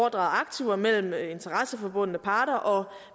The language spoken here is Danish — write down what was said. aktiver mellem interesseforbundne partere og